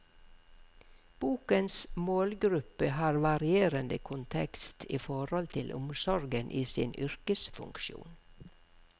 Bokens målgruppe har varierende kontekst i forhold til omsorgen i sin yrkesfunksjon.